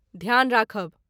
ध्यान राखब।